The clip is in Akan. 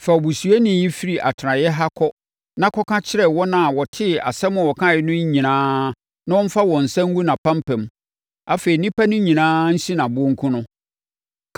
“Fa obusuyɛni no firi atenaeɛ ha kɔ na kɔka kyerɛ wɔn a wɔtee asɛm a ɔkaeɛ no nyinaa na wɔmfa wɔn nsa ngu nʼapampam; afei nnipa no nyinaa nsi no aboɔ nku no.